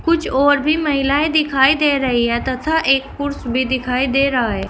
कुछ और भी महिलाएं दिखाई दे रही है तथा एक पुरुष भी दिखाई दे रहा है।